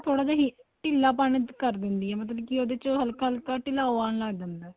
ਥੋੜਾ ਜਾ ਢਿੱਲਾ ਪਣ ਕਰ ਦਿੰਦੀ ਏ ਮਤਲਬ ਕੀ ਉਹਦੇ ਚ ਹੱਲਕਾ ਹੱਲਕਾ ਉਹਦੇ ਚ ਢਿਲਾਓ ਆਣ ਲੱਗ ਜਾਂਦਾ ਏ